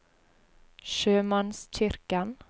sjømannskirken